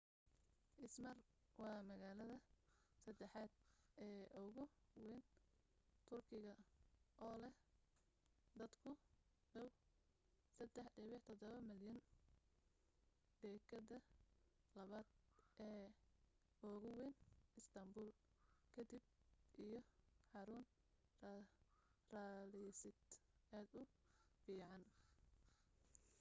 izmir waa magaalada saddexaad ee ugu wayn turkiga oo leh dad ku dhaw 3.7 milyan dekeddda labaad ee ugu wayn istaanbuul ka dib iyo xarun rariseed aad u fiican